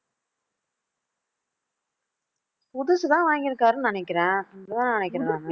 புதுசுதான் வாங்கி இருக்காருன்னு நினைக்கிறேன் அதான் நினைக்கிறேன் நானு